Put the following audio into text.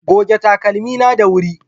Goge takalmi na da wuri